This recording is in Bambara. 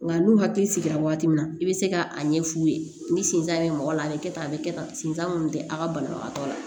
Nga n'u hakili sigira waati min na i bɛ se ka a ɲɛ f'u ye ni sentan bɛ mɔgɔ la a bɛ kɛ tan a bɛ kɛ tan sentan minnu tɛ a ka banabagatɔ la